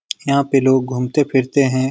यहाँ पे लोग घूमते-फिरते हैं।